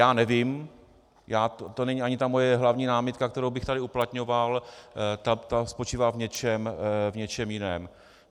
Já nevím, to není ani ta moje hlavní námitka, kterou bych tady uplatňoval, ta spočívá v něčem jiném.